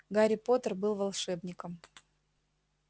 гарри поттер был волшебником